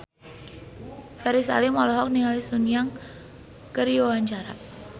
Ferry Salim olohok ningali Sun Yang keur diwawancara